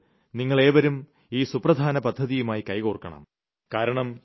അതുകൊണ്ട് നിങ്ങൾ ഏവരും ഈ സുപ്രധാന പദ്ധതിയുമായി കൈകോർക്കണം